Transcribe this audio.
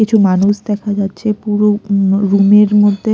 কিছু মানুষ দেখা যাচ্ছে পুরো উম রুম -এর মধ্যে।